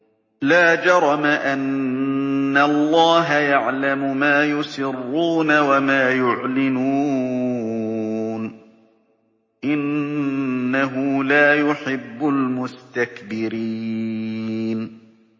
لَا جَرَمَ أَنَّ اللَّهَ يَعْلَمُ مَا يُسِرُّونَ وَمَا يُعْلِنُونَ ۚ إِنَّهُ لَا يُحِبُّ الْمُسْتَكْبِرِينَ